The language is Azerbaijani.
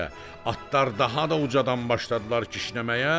Atlar daha da ucadan başladılar kişnəməyə.